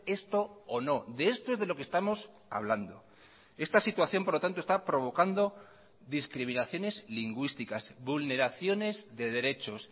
esto o no de esto es de lo que estamos hablando esta situación por lo tanto está provocando discriminaciones lingüísticas vulneraciones de derechos